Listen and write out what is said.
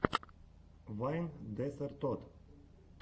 вайн десертод